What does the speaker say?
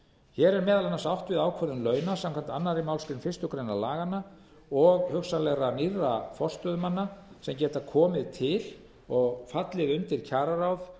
hér er meðal annars átt við ákvörðun launa samkvæmt annarri málsgrein fyrstu grein laganna og hugsanlega nýrra forstöðumanna sem geta komið til og fallið undir kjararáð